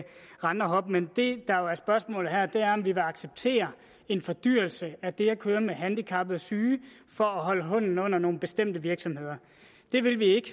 rende og hoppe men det der jo er spørgsmålet her er om vi vil acceptere en fordyrelse af det at køre med handicappede og syge for at holde hånden under nogle bestemte virksomheder det vil vi ikke